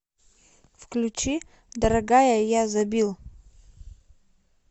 включи дорогая я забил